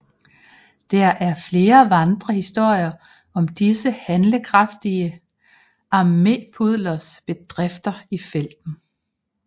Der er flere vandrehistorier om disse handlekraftige armépudlers bedrifter i felten